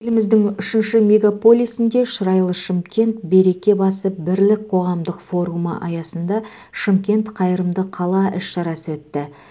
еліміздің үшінші мегаполисінде шырайлы шымкент береке басы бірлік қоғамдық форумы аясында шымкент қайырымды қала іс шарасы өтті